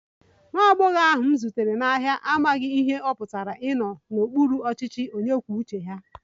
Nwa agbọghọ ahụ m zutere n'ahịa amaghị ihe ọ pụtara ịnọ n'okpuru ọchịchị onye kwuo uche ya